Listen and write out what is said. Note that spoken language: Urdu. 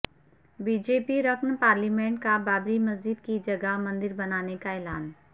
بی جے پی رکن پارلیمنٹ کا بابری مسجد کی جگہ مندر بنانے کا اعلان